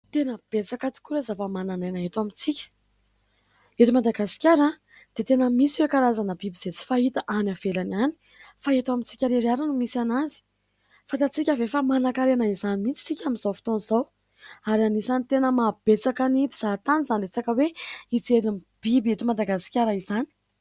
Tena betsaka tokoa ireo zava-manan'aina eto amintsika. Eto Madagasikara dia tena misy ireo karazana biby izay tsy fahita any ivelany any fa eto amintsika irery ihany no misy azy. Fanta-tsika ve fa mana-karena izany mihitsy isika amin'izao fotoana izao? Ary anisany tena maha betsaka ny mpizaha tany izany resaka hoe hijery ny biby eto madagasikara izany.